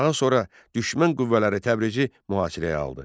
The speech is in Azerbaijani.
Daha sonra düşmən qüvvələri Təbrizə mühasirəyə aldı.